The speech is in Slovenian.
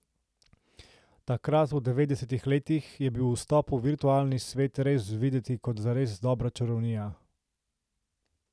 Takrat, v devetdesetih letih, je bil vstop v virtualni svet res videti kot zares dobra čarovnija.